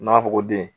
N'a fɔ ko den